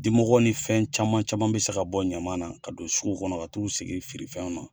Dimɔgɔw ni fɛn caman caman bɛ se ka bɔ ɲaman na ka don sugu kɔnɔ ka t'o sigi feere fɛnw na.